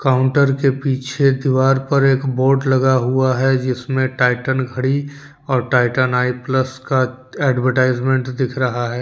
Counter के पीछे दीवार पर एक बोर्ड लगा हुआ है जिसमें टाइटन घड़ी और टाइटन आई प्लस का एडवर्टाइजमेंट दिख रहा है।